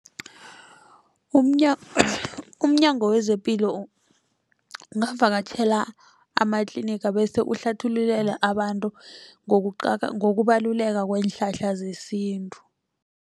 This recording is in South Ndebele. Umnyango wezepilo ungavakatjhela amatliniga bese uhlathululele abantu ngokubaluleka kweenhlahla zesintu.